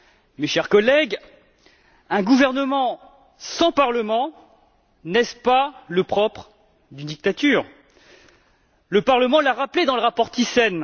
Mes chers collègues, un gouvernement sans parlement, n'est ce pas le propre d'une dictature? Le Parlement l'a rappelé dans le rapport Thyssen.